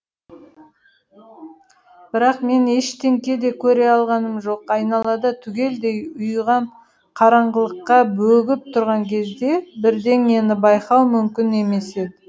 бірақ мен ештеңе де көре алғаным жоқ айналада түгелдей ұйыған қараңғылыққа бөгіп тұрған кезде бірдеңені байқау мүмкін емес еді